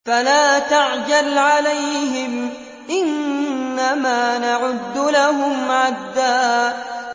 فَلَا تَعْجَلْ عَلَيْهِمْ ۖ إِنَّمَا نَعُدُّ لَهُمْ عَدًّا